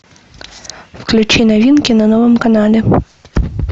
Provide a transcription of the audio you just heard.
включи новинки на новом канале